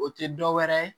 O tɛ dɔwɛrɛ ye